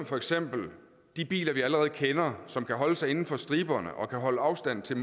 for eksempel de biler vi allerede kender som kan holde sig inden for striberne og kan holde afstand til